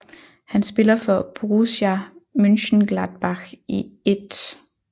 Han spiller for Borussia Mönchengladbach i 1